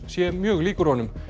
sé mjög líkur honum